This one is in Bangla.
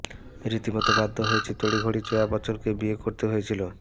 রীতিমতো বাধ্য হয়েই তড়িঘড়ি জয়া বচ্চনকে বিয়ে করতে হয়েছিল